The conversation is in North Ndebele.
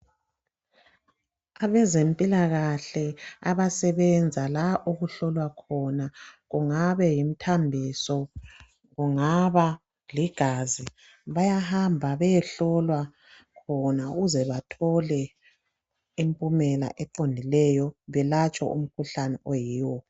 Abezempilakahle abasebenza la okuhlolwa khona kungabe yimthambiso kungaba ligazi bayahamba beyehlolwa bona ukuze bethole impumela eqondileyo belatshwe umkhuhlane oyiwo.